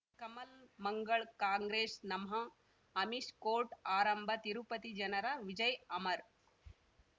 ಕಮಲ್ ಮಂಗಳ್ ಕಾಂಗ್ರೆಸ್ ನಮಃ ಅಮಿಷ್ ಕೋರ್ಟ್ ಆರಂಭ ತಿರುಪತಿ ಜನರ ವಿಜಯ ಅಮರ್